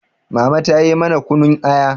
mama ta yi mana kunun Aya